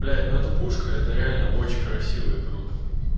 блять ну эта пушка это реально очень красиво и круто